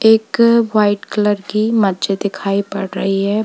इक white colour की मस्जिद दिखाई पड़ रही है।